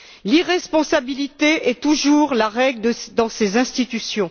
L'irresponsabilité est toujours la règle dans ces institutions.